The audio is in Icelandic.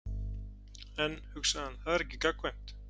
En, hugsaði hann, það er ekki gagnkvæmt.